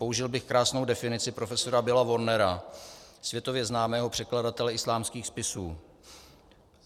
Použil bych krásnou definici profesora Billa Warnera, světově známého překladatele islámských spisů.